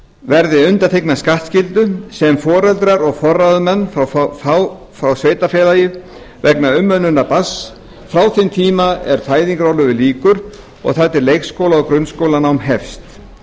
verði undanþegnar skattskyldu sem foreldrar eða forráðamenn fá frá sveitarfélagi vegna umönnunar barns frá þeim tíma er fæðingarorlofi lýkur og þar til leikskóla eða grunnskólanám hefst